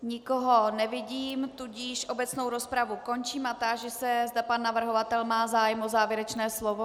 Nikoho nevidím, tudíž obecnou rozpravu končím a táži se, zda pan navrhovatel má zájem o závěrečné slovo.